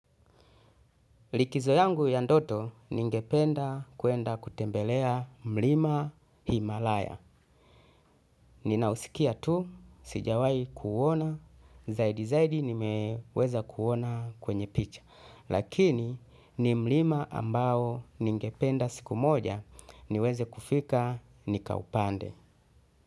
Likizo yangu ya ndoto ningependa kuenda kutembelea mlima Himalaya. Ninausikia tu, sijawai kuuona, zaidi zaidi nimeweza kuona kwenye picha. Lakini ni mlima ambao ningependa siku moja niweze kufika nikaupande.